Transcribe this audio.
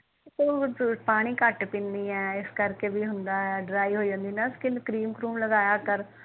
ਤੂੰ ਪਾਣੀ ਕੱਟ ਪੀਂਦੀ ਏ ਇਸ ਕਰ ਕ ਵੀ ਹੁੰਦਾ ਡ੍ਰਾਈ ਹੋ ਜਾਂਦੀ ਨਾ ਸਕੀਨ ਕਰਿਮ ਕਰੂਮ ਲਗਾਇਆ ਕਰ